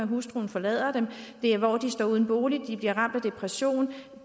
hustruen forlader dem de står uden bolig de bliver ramt af depression